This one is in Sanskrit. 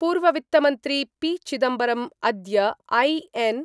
पूर्ववित्तमन्त्री पी.चिदम्बरमः अद्य आई.एन्.